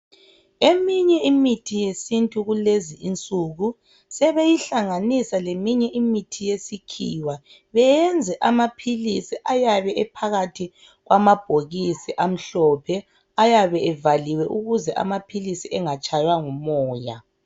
Eminye imithi yesintu kulezi insuku sebeyihlanganisa leminye imithi yesikhiwa beyenze amaphilisi ayabe ephakathi kwamabhokisi amhlophe ayabe evaliwe ukuze amaphilisi engatshaywa ngumoya.